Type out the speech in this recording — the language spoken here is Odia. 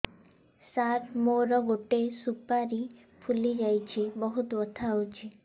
ସାର ମୋର ଗୋଟେ ସୁପାରୀ ଫୁଲିଯାଇଛି ବହୁତ ବଥା ହଉଛି